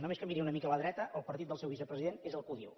només que miri una mica a la dreta el partit del seu vicepresident és el que ho diu